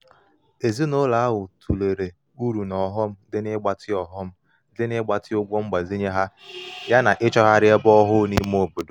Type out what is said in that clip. ezinụlọ ahụ tụlere uru na ọghọm dị n'ịgbatị ọghọm dị n'ịgbatị ụgwọ mgbazinye ha yana ịchọgharị ebe ọhụụ n’ime obodo